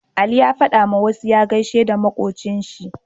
Aliyu ya fada wa musa ya gaishe da makocin shi